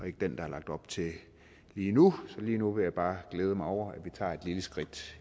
ikke den der er lagt op til lige nu så lige nu vil jeg bare glæde mig over at vi tager et lille skridt